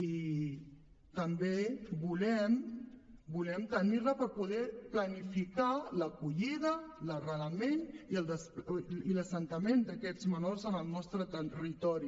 i també volem tenir la per poder planificar l’acollida l’arrelament i l’assentament d’aquests menors en el nostre territori